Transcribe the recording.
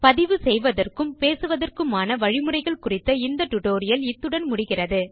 பதிவு செய்வதற்கும் பேசுவதற்க்குமான வழிமுறைகள் குறித்த இந்த டியூட்டோரியல் இத்துடன் நிறைவடைந்தது